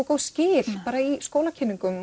góð skil bara í